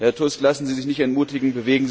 Herr Tusk, lassen Sie sich nicht entmutigen!